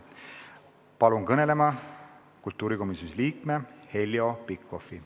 Palun kõnelema kultuurikomisjoni liikme Heljo Pikhofi!